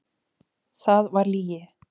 Það var lygi.